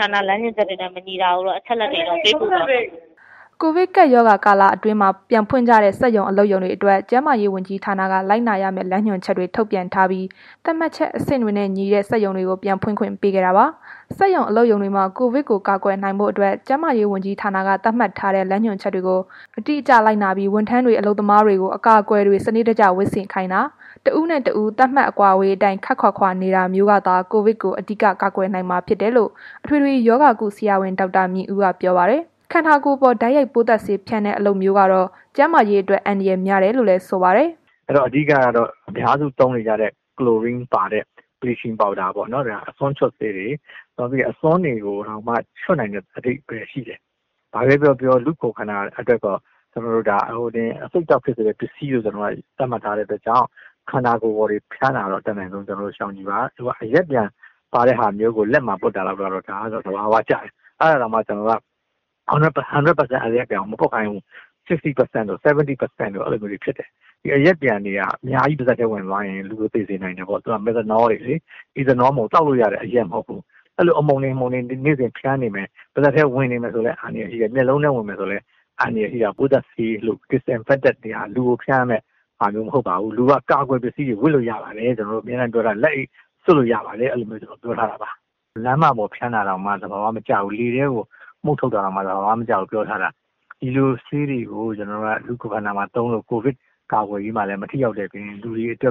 ဌာန လမ်းညွှန်ချက်တွေနဲ့ မညီတာတွေကိုတော့ အချက်အလက်တွေ ပေးပို့သွားပါမယ်။” ကိုဗစ်ကပ်ရောဂါ ကာလအတွင်း ပြန်ဖွင့်ကြတဲ့ စက်ရုံ အလုပ်ရုံတွေအတွက် ကျန်းမာရေးဝန်ကြီးဌာနက လိုက်နာရမယ့် လမ်းညွှန်ချက်တွေ ထုတ်ပြန်ထားပြီး သတ်မှတ်ချက် အဆင့်တွေနဲ့ ညီတဲ့ စက်ရုံတွေကို ပြန်ဖွင့်ခွင့်ပေးခဲ့တာပါ။ စက်ရုံ အလုပ်ရုံတွေမှာ ကိုဗစ်ကို ကာကွယ်နိုင်ဖို့အတွက် ကျန်းမာရေးဝန်ကြီးဌာနက သတ်မှတ်ထားတဲ့ လမ်းညွှန်ချက်တွေကို အတိအကျလိုက်နာပြီး ဝန်ထမ်းတွေလုပ်သားတွေကို အကာအကွယ်တွေ စနစ်တကျ ဝတ်ဆင်ခိုင်းတာ၊ တစ်ဦးနဲ့ တစ်ဦး သတ်မှတ်အကွာအဝေးအတိုင်း ခပ်ခွာခွာနေတာမျိုးကသာ ကိုဗစ်ကို အဓိက ကာကွယ်နိုင်မှာဖြစ်တယ်လို့ အထွေထွေရောဂါကု ဆရာဝန် ဒေါက်တာမြင့်ဦးက ပြောပါတယ်။ ခန္ဓာကိုယ်ပေါ် တိုက်ရိုက်ပိုးသတ်ဆေးဖျန်းတဲ့ လုပ်ရပ်မျိုးကတော့ ကျန်းမာရေးအတွက် အန္တရာယ်များတယ်လို့လည်း ဆိုပါတယ်။ “အဓိကကတော့ အများစု သုံးနေကြတဲ့ ကလိုရင်းပါတဲ့ဟာပေါ့၊ ဒါအစွန်းချွတ်ဆေးတွေ အစွန်းတွေကိုတောင်မှ ချွတ်နိုင်တဲ့ အဓိပ္ပာယ်ရှိတယ်။ ဘာပဲပြောပြော လူ့ကိုယ်ခန္ဓာအတွက်တော့ အဆိပ်အတောက် ဖြစ်စေတဲ့ ပစ္စည်းလို့ သတ်မှတ်ထားတဲ့ အတွက်ကြောင့် ခန္ဓာကိုယ်ပေါ်ကို ဖျန်းတာကိုတော့ အတတ်နိုင်ဆုံးရှောင်ကြဉ်ပါ။ အရက်ပျံပါတာကို လက်မှာပွတ်တာလောက်ကတော့ ဒါကတော့ သဘာဝကျတယ်။ အဲ့ဒါတောင်မှ ၁၀၀ ရာခိုင်နှုန်း အရက်ပျံကို မပွတ်ခိုင်းဘူး။ ၅၀ ရာခိုင်နှုန်းတို့၊ ၇၀ ရာခိုင်နှုန်းတို့ အဲ့လောက်ပဲ။ ဒီအရက်ပျံတွေက အများကြီး ပါးစပ်ထဲ ဝင်သွားရင် လူကို သေစေနိုင်တယ်ပေါ့။ သူတို့ က Methanol တွေလေ။ သောက်လို့ရတဲ့ အရက်မဟုတ်ဘူး။ အဲ့လို အမှုန်တွေ နေ့စဉ်ဖျန်နေမယ်၊ ပါးစပ်ထဲဝင်မယ်ဆိုရင်လည်း အန္တရာယ်ရှိတယ်၊ မျက်လုံးထဲ ဝင်မယ်ဆိုရင်လည်း အန္တရာယ်ရှိတယ်။ ပိုးသတ်ဆေးဆိုတာ လူကို ဖျန်းရမယ့်ဟာမျိုး မဟုတ်ပါဘူး။ လူက အကာအကွယ်ပစ္စည်းတွေ ဝတ်လို့ရပါတယ်။ အမြဲတမ်းပြောတယ်။ လက်အိတ်စွပ်လို့ရပါတယ်၊ အဲ့လိုမျိုးတွေပေါ့။ လမ်းမပေါ်ဖျန်းတာ၊ လေထဲကို မှုတ်ထုတ်တာတောင်မှ သဘာဝမကျဘူးပြောထားတာ ဒီဆေးတွေကို လူ့ကိုယ်ခန္ဓာမှာသုံးလို့ ကိုဗစ်ကာကွယ်ရေးကို မထိရောက်တဲ့ အပြင် လူကိုလည်း အဆိ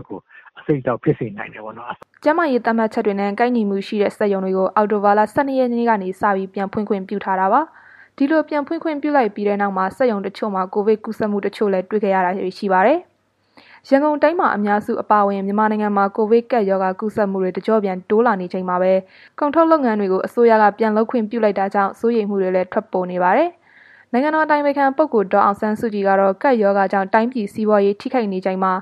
ပ်အတောက်ဖြစ်စေနိုင်တယ်ပေါ့နော်။” ကျန်းမာရေးသတ်မှတ်တွေနဲ့ ကိုက်ညီမှုရှိတဲ့ စက်ရုံတွေကို အောက်တိုဘာလ ၁၂ ရက်နေ့ကစပြီး ပြန်ဖွင့်ခွင့်ပြုထားတာပါ။ ဒီလို ပြန်ဖွင့်ခွင့်ပြုလိုက်ပြီးတဲ့နောက် စက်ရုံတချို့မှာ ကိုဗစ်ကူးစက်မှုတချို့ တွေ့ခဲ့ရတာတွေ ရှိပါတယ်။ ရန်ကုန်တိုင်းမှာ အများစုအပါအဝင် မြန်မာနိုင်ငံမှာ ကိုဗစ်ကပ်ရောဂါ ကူးစက်မှုတွေ တကျော့ပြန် တိုးလာနေချိန်မှာပဲ ကုန်ထုတ်လုပ်ငန်းတွေကို အစိုးရက ပြန်လုပ်ခွင့်ပြုလိုက်တာကြောင့် စိုးရိမ်မှုတွေလည်း ထွက်ပေါ်နေပါတယ်။ နိုင်ငံတော်အတိုင်ပင်ခံပုဂ္ဂိုလ် ဒေါ်အောင်ဆန်းစုကြည်ကတော့ ကပ်ရောဂါကြောင့် တိုင်းပြည်စီးပွားရေး ထိခိုက်နေချိန်မှာ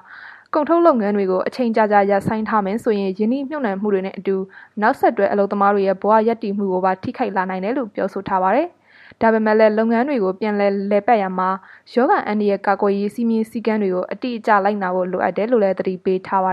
ကုန်ထုတ်လုပ်ငန်းတွေကို အချိန်ကြာကြာ ရပ်ဆိုင်းထားမယ်ဆိုရင် ရင်းနှီးမြှုပ်နှံမှုတွေနဲ့ အတူ နောက်ဆက်တွဲ အလုပ်သမားတွေရဲ့ ဘဝရပ်တည်မှုကိုပါ ထိခိုက်လာနိုင်တယ်လို့ ပြောဆိုထားပါတယ်။ ဒါပေမဲ့လည်း လုပ်ငန်းတွေကို ပြန်လည်ပတ်ရာမှာ ရောဂါအန္တရာယ် ကာကွယ်ရေး စည်းမျဉ်းစည်းကမ်းတွေကို တိတိကျကျ လိုက်နာဖို့ လိုအပ်တယ်လို့လည်း သတိပေးထားပါ